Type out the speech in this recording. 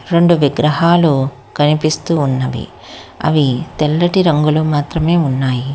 రెండు విగ్రహాలు కనిపిస్తూ ఉన్నవి అవి తెల్లటి రంగులు మాత్రమే ఉన్నాయి.